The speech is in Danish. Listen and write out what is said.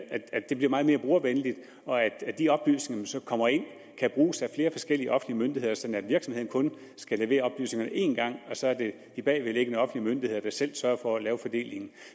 det bliver meget mere brugervenligt og at de oplysninger som kommer ind kan bruges af flere forskellige offentlige myndigheder sådan at virksomheden kun skal levere oplysningerne én gang og så er det de bagvedliggende offentlige myndigheder der selv sørger for at lave fordelingen